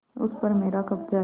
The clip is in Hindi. उस पर मेरा कब्जा है